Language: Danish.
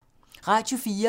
Radio 4